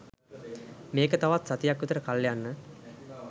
මේක තවත් සතියක් විතර කල් යන්න